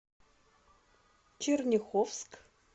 черняховск